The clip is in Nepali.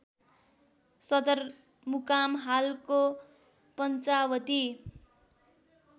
सदरमुकाम हालको पञ्चावती